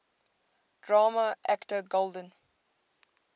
drama actor golden